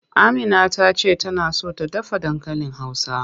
Amina ta ce tana so ta dafa dankalin Hausa.